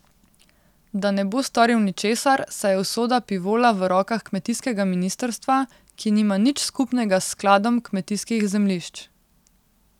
Da ne bo storil ničesar, saj je usoda Pivola v rokah kmetijskega ministrstva, ki nima nič skupnega s Skladom kmetijskih zemljišč.